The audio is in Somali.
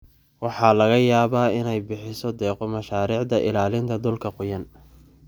Waxa laga yaabaa inay bixiso deeqo mashaariicda ilaalinta dhulka qoyan.